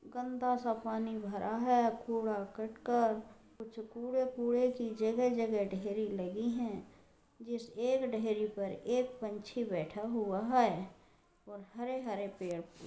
गंदा सा पानी भरा है। कूड़ा-करकट कुछ कूड़े कूड़े की जगह-जगह ढेरी लगीं हैं जिस एक ढेरी पर एक पंछी बैठा हुआ है और हरे हरे पेड़ --